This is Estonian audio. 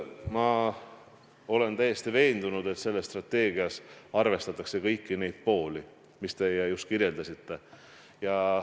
Ma olen täiesti veendunud, et selles strateegias arvestatakse kõiki neid pooli, mida te just kirjeldasite.